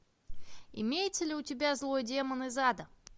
имеется ли у тебя злой демон из ада